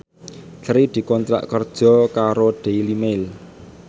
Sri dikontrak kerja karo Daily Mail